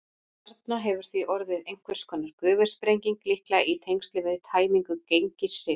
Þarna hefur því orðið einhvers konar gufusprenging, líklega í tengslum við tæmingu Gengissigs.